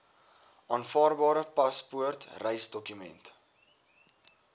aanvaarbare paspoort reisdokument